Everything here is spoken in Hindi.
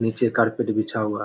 नीचे कारपेट बिछा हुआ है।